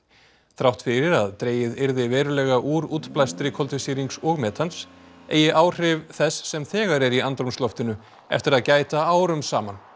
þrátt fyrir að dregið yrði verulega úr útblæstri koltvísýrings og metans eigi áhrifa þess sem þegar er í andrúmsloftinu eftir að gæta árum saman